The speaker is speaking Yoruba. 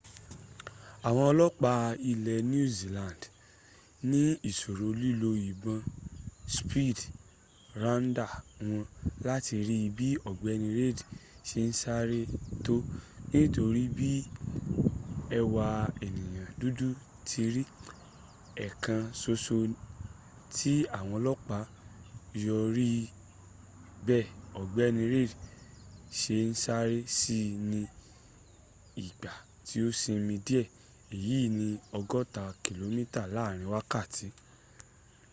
àwọn ọlọ́pàá ilẹ̀ new zealand ní ìṣòro lílo ìbọn speed radar wọn láti rí bí ọ̀gbẹ́ni reid ṣe ń sáré tó nítorí bí ẹwà ẹ̀nìyàn dudu ti ri ẹ̀ẹ̀kan soso tí àwọn ọlọ́pàá yóò rí bí ọgbẹ́ni reid ṣe ń sáré sí ni ìgbà tí ó sinmi díẹ̀ èyi ni ọgọ́ta kìlómíta láàrin wákàtí